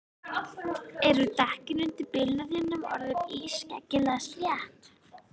Eru dekkin undir bílnum þínum orðin ískyggilega slétt?